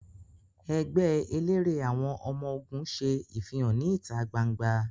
Ẹẹgbẹ elere àwọn ọmọ-ogun ṣe ifihan ni ita gbangba